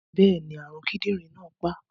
Bẹ́ẹ̀ni, àrùn kidinrin náà pa á.